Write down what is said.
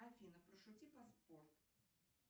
афина пошути про спорт